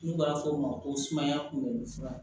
N'u b'a f'o ma ko sumaya kunbɛ fura